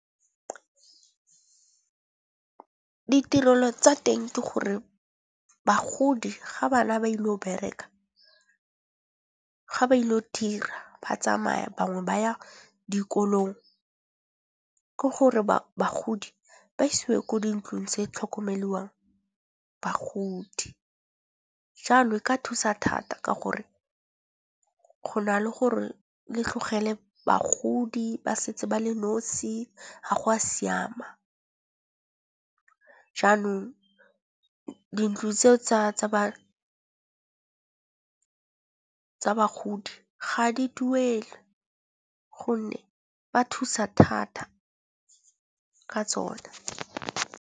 Ditirelo tsa teng ke gore bagodi ga ba na ba ile go bereka ga ba ile go dira ba tsamaya bangwe ba ya dikolong. Ke gore bagodi ba isiwe ko dintlong tse tlhokomeliwang bagodi. Jalo, e ka thusa thata ka gore go na le gore le tlogele bagodi ba setse ba le nosi ga go a siama. Jaanong dintlo tseo tsa ba bagodi ga di duelwe, gonne ba thusa thata ka tsone.